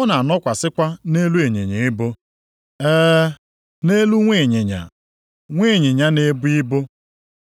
Ọ na-anọkwasịkwa nʼelu ịnyịnya ibu, ee, nʼelu nwa ịnyịnya, nwa ịnyịnya na-ebu ibu.’ ”+ 21:5 \+xt Zek 9:9\+xt*